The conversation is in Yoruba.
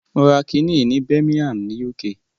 Mo ra kiní yìí ní Birmingham ni UK.